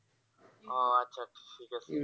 ও আচ্ছা আচ্ছা ঠিক আছে।